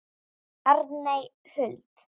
Arney Huld.